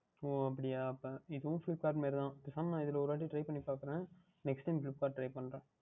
ஓ அப்படியா அப்பொழுது இதுவும் Flipkart மாதிரிதான் பேசாமல் இதில் ஓர் வாற்றி Try பண்ணி பார்க்கின்றேன் Next Time Flipkart யில் Try பண்ணுகின்றேன்